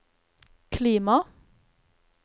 klima